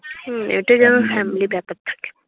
হম এটা যেন family ব্যাপার থাকে।